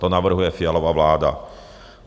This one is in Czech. To navrhuje Fialova vláda.